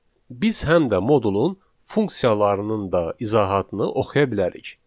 Biz həm də modulun funksiyalarının da izahatını oxuya bilərik.